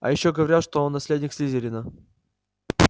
а ещё говорят что он наследник слизерина